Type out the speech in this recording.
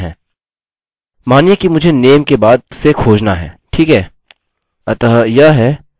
मानिए कि मुझे name के बाद से खोजना है ठीक है